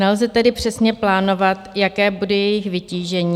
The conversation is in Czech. Nelze tedy přesně plánovat, jaké bude jejich vytížení.